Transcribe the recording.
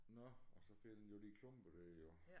Nåh og så fælder den jo de klumper der jo